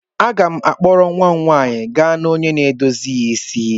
M ga-akpọrọ nwa m nwanyị gaa na onye na-edozi isi.